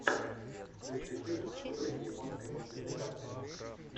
включи фильм в духе японской мультипликации